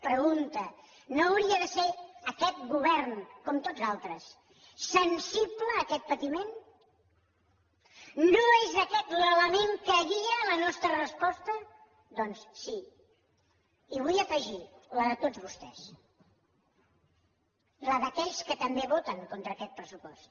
pregunta no hauria de ser aquest govern com tots els altres sensible a aquest patiment no és aquest l’element que guia la nostra resposta doncs sí i vull afegir ho la de tots vostès la d’aquells que també voten contra aquest pressupost